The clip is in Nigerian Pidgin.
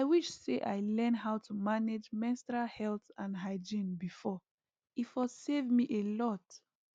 i wish say i learn how to manage menstrual health and hygiene before e for save me a lot